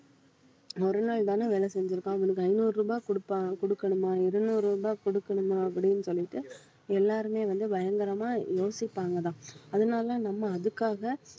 ஒரு நாள்தானே வேலை செஞ்சிருக்கான் அவனுக்கு ஐந்நூறு ரூபாய் குடுப்பான் குடுக்கணுமா இருநூறு ரூபாய் குடுக்கணுமா அப்படின்னு சொல்லிட்டு எல்லாருமே வந்து பயங்கரமா யோசிப்பாங்கதான் அதனால நம்ம அதுக்காக